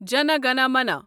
جَنہ گنہَ منہَ